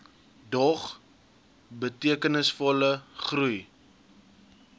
dog betekenisvolle groei